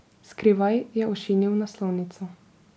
Skrivaj je ošinil naslovnico.